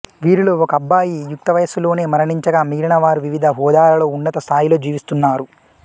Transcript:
వీరిలో ఒకబ్బాయి యుక్తవయస్సులోనే మరణించగా మిగిలిన వారు వివిధ హోదాలలో ఉన్నత స్థాయిలో జీవిస్తున్నారు